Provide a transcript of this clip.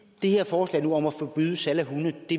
det her forslag om at forbyde salg af hunde